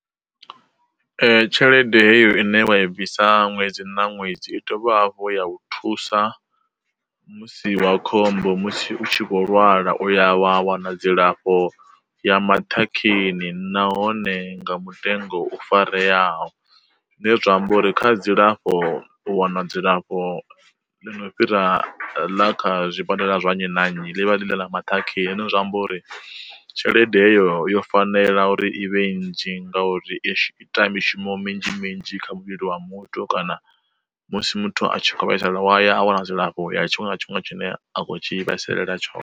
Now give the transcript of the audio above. Tshelede heyo ine vha i bvisa ṅwedzi na ṅwedzi i dovha hafhu ya u thusa musi wa khombo musi u tshi vho lwala uya wa wana dzilafho ya maṱhakheni nahone nga mutengo u farelwaho. Zwine zwa amba uri kha dzilafho u wana dzilafho ḽi no fhira ḽa kha zwibadela zwa nnyi na nnyi ḽi vha ḽi ḽa maṱhakheni, zwiambo uri tshelede heyo yo fanela ḽa uri i vhanzhi ngauri i ita mishumo minzhi minzhi kha muvhili wa muthu kana musi muthu a tshi kho vhaisala waya a wana dzilafho ya tshiṅwe na tshiṅwe tshine a kho tshi vhaisalela tshone.